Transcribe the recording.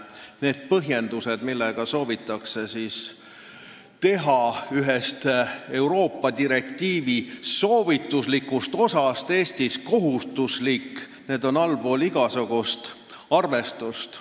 Need põhjendused, millega soovitakse teha Euroopa direktiivi üks soovituslik osa Eestis kohustuslikuks, on allpool igasugust arvestust.